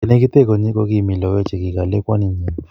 Ye negite konyi kokimi logoek chekikole kwaninyi